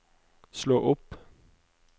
slå opp